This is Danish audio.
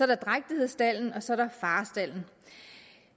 der drægtighedsstalden og så er der farestalden